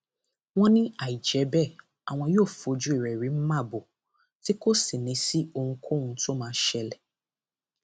wọn ní àìjẹ bẹẹ àwọn yóò fojú rẹ rí màbo tí kò sì ní í sí ohunkóhun tó máa ṣẹlẹ